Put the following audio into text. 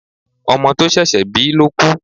Ọmọ to sẹ̀sé̩ bi ló kú